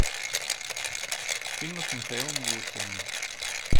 фильмы с михаилом галустяном